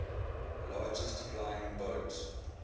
largest flying boat